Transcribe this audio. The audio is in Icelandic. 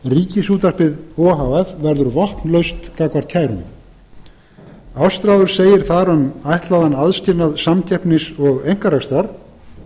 ríkisútvarpið o h f verður vopnlaust gagnvart kær ástráður segir þar um ætlaðan aðskilnað samkeppnis og einkarekstrar